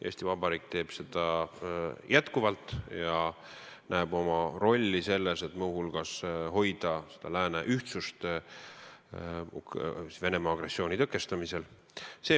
Eesti Vabariik teeb seda jätkuvalt ja näeb oma rolli selles, et muu hulgas hoida lääne ühtsust Venemaa agressiooni tõkestamisel.